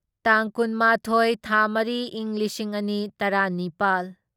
ꯇꯥꯡ ꯀꯨꯟꯃꯥꯊꯣꯢ ꯊꯥ ꯃꯔꯤ ꯢꯪ ꯂꯤꯁꯤꯡ ꯑꯅꯤ ꯇꯔꯥꯅꯤꯄꯥꯜ